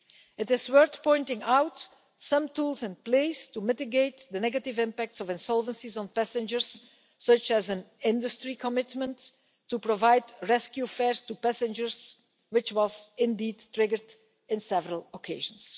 It is worth pointing out some tools in place to mitigate the negative impacts of insolvencies on passengers, such as an industry commitment to provide rescue fares to passengers, which was indeed triggered on several occasions.